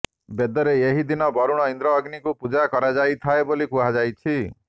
ବେଦରେ ଏହି ଦିନ ବରୁଣ ଇନ୍ଦ୍ର ଅଗ୍ନିଙ୍କ ପୂଜା କରାଯାଇଥାଏ ବୋଲି କୁହାଯାଇଛି